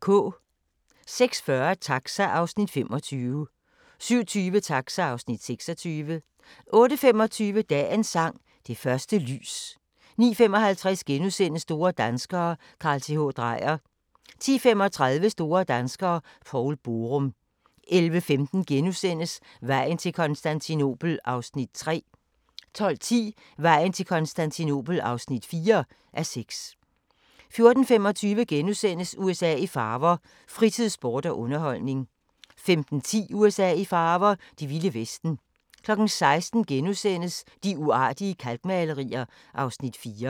06:40: Taxa (Afs. 25) 07:20: Taxa (Afs. 26) 08:25: Dagens sang: Det første lys 09:55: Store danskere - Carl Th. Dreyer * 10:35: Store danskere - Poul Borum 11:15: Vejen til Konstantinopel (3:6)* 12:10: Vejen til Konstantinopel (4:6) 14:25: USA i farver – fritid, sport og underholdning * 15:10: USA i farver – det vilde vesten 16:00: De uartige kalkmalerier (Afs. 4)*